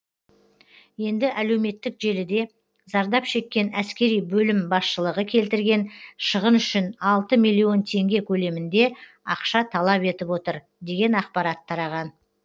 енді әлеуметтік желіде зардап шеккен әскери бөлім басшылығы келтірген шығын үшін алты миллион теңге көлемінде ақша талап етіп отыр деген ақпарат тараған